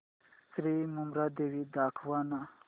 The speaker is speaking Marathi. श्री मुंबादेवी दाखव ना